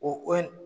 O ko in